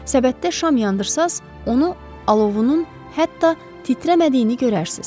Səbətdə şam yandırırsanız, onu alovunun hətta titrəmədiyini görərsiniz.